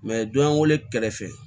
don y'an wele kɛrɛfɛ